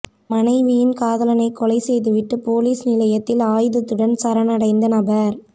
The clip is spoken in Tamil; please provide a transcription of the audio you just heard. மனைவியின் காதலனை கொலை செய்துவிட்டு பொலிஸ் நிலையத்தில் ஆயுதத்துடன் சரணடைந்த நபர்